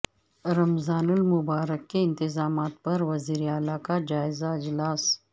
رمضان المبارک کے انتظامات پر وزیر اعلی کا جائزہ اجلاس